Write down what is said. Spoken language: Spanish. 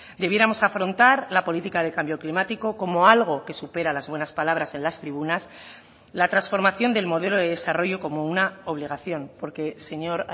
debiéramos afrontar la política de cambio climático como algo que supera las buenas palabras en las tribunas la transformación del modelo de desarrollo como una obligación porque señor